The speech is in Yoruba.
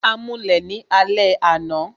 A mulẹ̀ ni alẹ́ àná